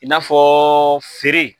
I n'a fɔ feere.